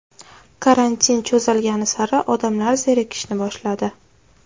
Karantin cho‘zilgani sari odamlar zerikishni boshladi.